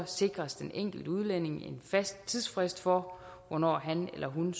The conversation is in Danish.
sikres den enkelte udlænding en fast tidsfrist for hvornår han eller hun